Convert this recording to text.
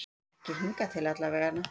Ekki hingað til allavega.